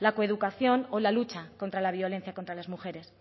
la coeducación o la lucha contra la violencia contra las mujeres